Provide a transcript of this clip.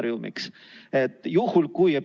Tänan kuulamast ja vastan hea meelega küsimustele.